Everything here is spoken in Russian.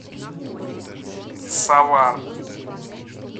савар